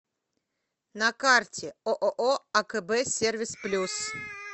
на карте ооо акб сервис плюс